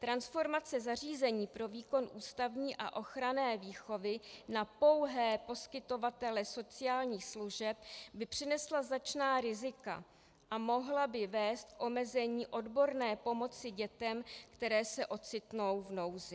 Transformace zařízení pro výkon ústavní a ochranné výchovy na pouhé poskytovatele sociálních služeb by přinesla značná rizika a mohla by vést k omezení odborné pomoci dětem, které se ocitnou v nouzi.